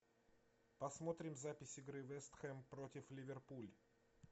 посмотрим запись игры вест хэм против ливерпуль